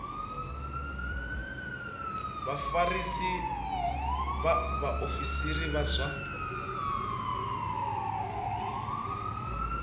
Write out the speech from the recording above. vha vhafarisa vhaofisiri vha zwa